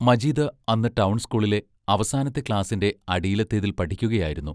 മജീദ് അന്ന് ടൗൺ സ്കൂളിലെ അവസാനത്തെ ക്ലാസ്സിന്റെ അടിയിലത്തേതിൽ പഠിക്കയായിരുന്നു.